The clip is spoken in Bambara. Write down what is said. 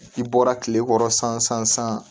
I bɔra tile kɔrɔ san san san san